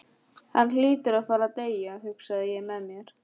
Hann hlýtur að fara að deyja, hugsaði ég með mér.